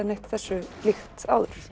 neitt þessu líkt áður